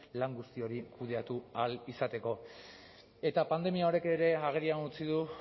lan guzti hori kudeatu ahal izateko eta pandemia honek ere agerian utzi du